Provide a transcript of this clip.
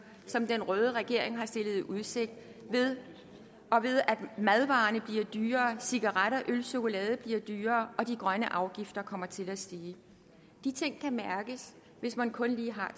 som den røde regering har stillet i udsigt ved at madvarer bliver dyrere cigaretter øl og chokolade bliver dyrere og de grønne afgifter kommer til at stige de ting kan mærkes hvis man kun lige har